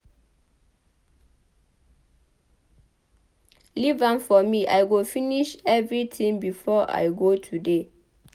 Leave am for me I go finish everything before I go today